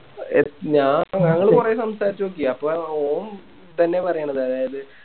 ആ ഞാ ഞങ്ങള് കൊറേ സംസാരിച്ച് നോക്കി അപ്പോം ഇതെന്നെയാ പറയണത് അതായത്